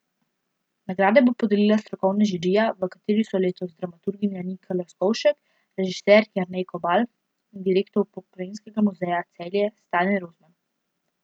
Nagrade bo podelila strokovna žirija, v kateri so letos dramaturginja Nika Leskovšek, režiser Jernej Kobal in direktor Pokrajinskega muzeja Celje Stane Rozman.